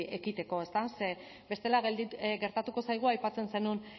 ekiteko bestela gertatuko zaigu aipatzen zenuen